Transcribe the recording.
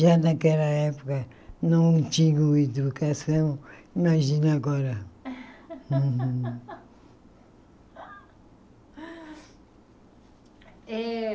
Já naquela época não tinha educação, imagina agora.